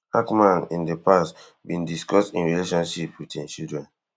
hackman in di past bin discuss im relationship wit im children